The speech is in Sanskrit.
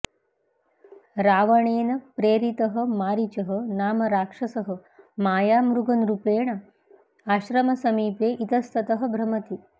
रावणेन प्रेरितः मारीचः नाम राक्षसः मायामृगरूपेण आश्रमसमीपे इतस्ततः भ्रमति